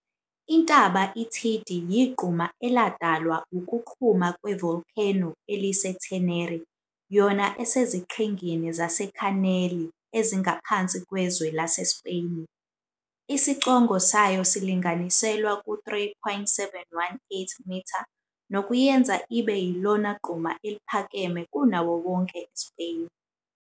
Intaba iThidi yigquma eladalwa wukuqhuma kwe volcano elise Theneri yona eseziqhingini zaseKhaneli ezingaphansi kwezwe lase Speyni. Isicongo sayo silinganiselwa ku 3,718m, nokuyenza ibe yilona gquma eliphakeme kunawowonke eSpeyni.